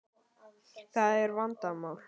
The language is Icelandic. Það er vandamál.